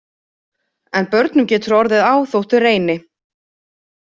En börnum getur orðið á þótt þau reyni.